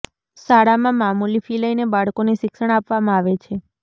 શાળામાં મામૂલી ફી લઈને બાળકોને શિક્ષણ આપવામાં આવે છે